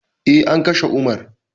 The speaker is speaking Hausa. Eh, an kashe umar